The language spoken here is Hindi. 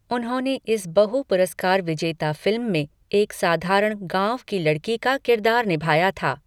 उन्होंने इस बहु पुरस्कार विजेता फिल्म में एक साधारण गांव की लड़की का किरदार निभाया था।